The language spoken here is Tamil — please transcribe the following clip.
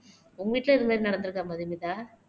உங்க வீட்ல இது மாதிரி நடந்துருக்கா மதுமிதா